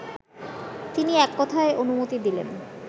তিনি এককথায় অনুমতি দিলেন